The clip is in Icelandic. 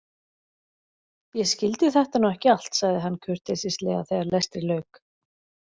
Ég skildi þetta nú ekki allt, sagði hann kurteislega þegar lestri lauk.